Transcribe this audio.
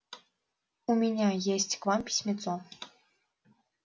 у меня есть к вам письмецо